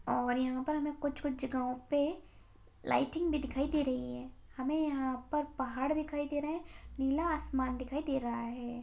और यहाँ पर हमें कुछ-कुछ जगहों पे लाइटिंग भी दिखाई दे रही है हमें यहाँ पर पहाड़ दिखाई दे रहे हैं नीला आसमान दिखाई दे रहा है।